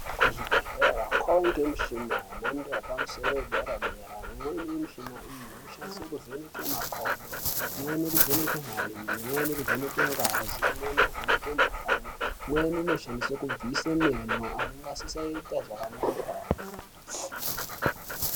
Kuzvibhedhleya kwawande michini yemhando yepamusoro yedera dera imweni yemuchini iyi inoshandiswe kuvheneka makodo, imweni kuvheneke marenje, imweni kuvheneke ngazi , imweni kuvheneke mukhuhlani imweni kubvise menk anenge asingachaiti zvakanaka.